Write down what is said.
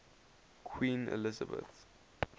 queen elizabeth